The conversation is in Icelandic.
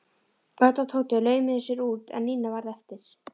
Örn og Tóti laumuðu sér út en Nína varð eftir.